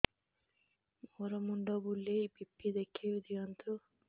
ମୋର ମୁଣ୍ଡ ବୁଲେଛି ବି.ପି ଦେଖି ଦିଅନ୍ତୁ